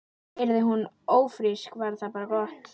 Yrði hún ófrísk var það bara gott.